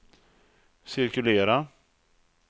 cirkulera